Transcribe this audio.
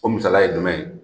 O misaliya ye jumɛn ye ?